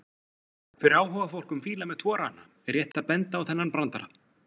Fyrir áhugafólk um fíla með tvo rana er rétt að benda á þennan brandara: